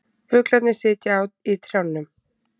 Fuglarnir sitja í trjánum.